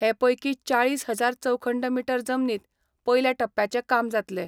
हे पयकी चाळीस हजार चौखंड मीटर जमनीत पयल्या टप्प्याचे काम जातले.